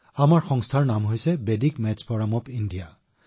আমাৰ সংগঠনটোৰ নাম বৈদিক গণিত ফৰাম ইণ্ডিয়া